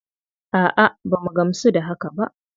A'a, ba mu gamsu ba da haka ba.